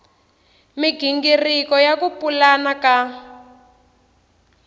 migingiriko ya ku pulana ka